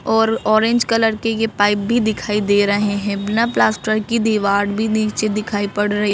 और orange colour के ये पाइप भी दिखाई दे रहे हैं बिना प्लास्टर की दीवार भी नीचे दिखाई पड़ रही।